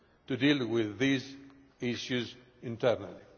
to deal with these issues internally.